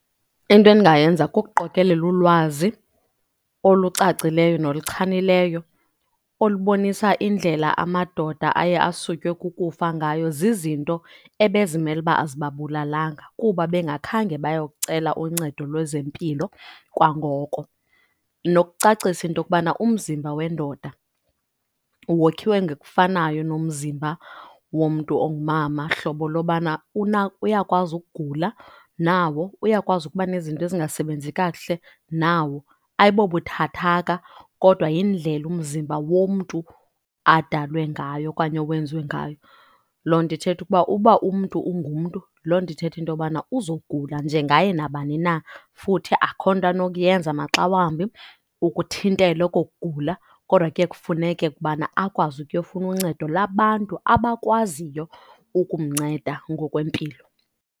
Into endingayenza kukuqokelela ulwazi olucacileyo noluchanileyo olubonisa indlela amadoda aye asutywe kukufa ngayo zizinto ebe zimele uba azibabulalanga, kuba bengakhange baye kucela uncedo lwezempilo kwangoko. Nokucacisa into yokubana umzimba wendoda wokhiwe ngokufanayo nomzimba womntu ongumama, hlobo lobana uyakwazi ukugula nawo, uyakwazi ukuba nezinto ezingasebenzi kakuhle nawo. Ayibobuthathaka kodwa yindlela umzimba womntu adalwe ngayo okanye owenziwe ngayo. Loo nto ithetha ukuba uba umntu ungumntu loo nto ithetha into yobana uzogula njengaye nabani na, futhi akukho nto anokuyenza maxa wambi ukuthintela oko kugula. Kodwa ke kufuneke ukubana akwazi ukuyofuna uncedo labantu abakwaziyo ukumnceda ngokwempilo.